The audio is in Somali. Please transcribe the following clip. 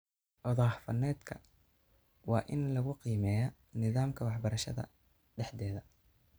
Odhaah faneedka waa in lagu qiimeeyaa nidaamka waxbarashada dhexdeeda.